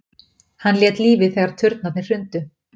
Hann lét lífið þegar turnarnir hrundu